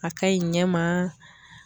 A ka ɲi ɲɛ ma